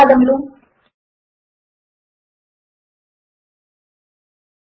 మాతో కలిసినందుకు కృతజ్ఞతలు